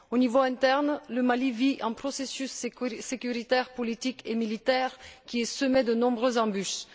Au niveau interne, le Mali vit un processus sécuritaire, politique et militaire qui est semé de nombreuses embûches.